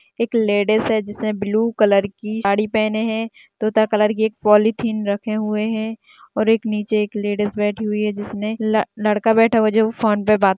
एक लेडिस है जिसने ब्लू कलर की साड़ी पहने है तोता कलर की एक पॉलिथीन रखे हुए हैं और नीचे एक लेडिस बैठी हुई है जिसमें लड़का बैठा हुआ है जो फोन पर बात --